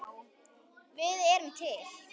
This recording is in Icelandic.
Við erum til!